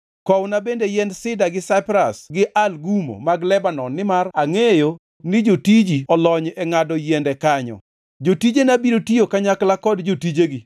“Kowna bende yiend sida gi saipras gi algumo mag Lebanon nimar angʼeyo ni jotiji olony e ngʼado yiende kanyo. Jotijena biro tiyo kanyakla kod jotijegi